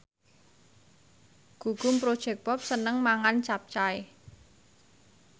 Gugum Project Pop seneng mangan capcay